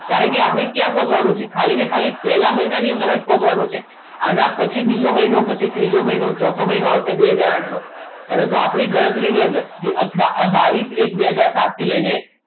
કારણ કે આપણે ક્યાં પહોંચવાનું છે ખાલી ને ખાલી પહેલા મહિનાની અંદર જ પહોંચવાનું છે આની પછી બીજો મહિનો પછી ત્રીજો મહિનો પછી ચોથો મહિનો આવશે બે હાજર આઠ નો પરંતુ આપણી ગણતરીની અંદર બાવીસ એક બે હાજર સાત થી લઈને